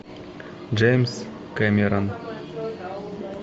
джеймс кемерон